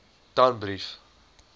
danbrief